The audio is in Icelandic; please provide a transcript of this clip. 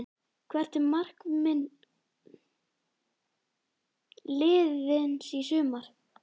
Hvert er markmið liðsins í sumar?